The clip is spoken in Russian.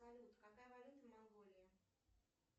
салют какая валюта в монголии